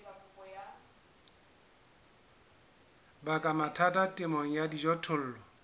baka mathata temong ya dijothollo